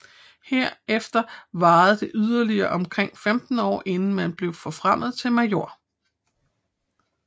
Herefter varede det yderligere omkring 15 år inden man blev forfremmet til major